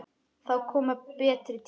Það koma betri tímar.